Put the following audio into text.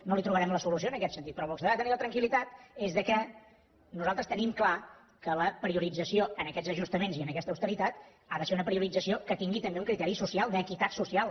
no hi trobarem la solució en aquest sentit però vostè ha de tenir la tranquil·litat que nosaltres tenim clar que la priorització en aquests ajustaments i en aquesta austeritat ha de ser una priorització que tingui també un criteri social d’equitat social